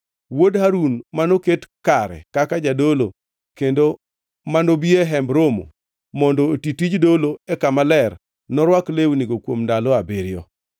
Wuod Harun manoket kare kaka jadolo kendo ma nobi e Hemb Romo mondo oti tij dolo e Kama Ler norwak lewnigo kuom ndalo abiriyo.